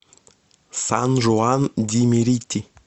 сан жуан ди мерити